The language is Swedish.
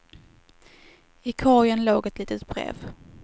I korgen låg ett litet brev.